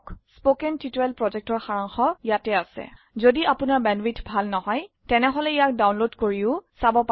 কথন শিক্ষণ প্ৰকল্পৰ সাৰাংশ ইয়াত আছে যদি আপোনাৰ বেণ্ডৱিডথ ভাল নহয় তেনেহলে ইয়াক ডাউনলোড কৰি চাব পাৰে